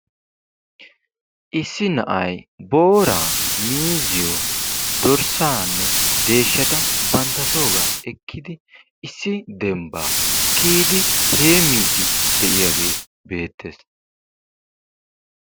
Issi na'ay booraa, miizziyo, dorssaanne deeshshata bantta soogaa ekkidi issi dembbaa kiiyidi heemmiidi de'iyaagee beettees.